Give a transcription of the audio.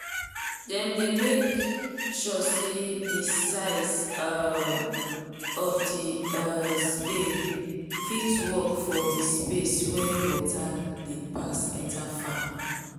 them dey make sure say the size um of the um spade fit work for the space wen water dey pass enter farm